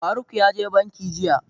Faruk ya je banki jiya.